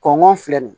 Kɔngɔ filɛ nin ye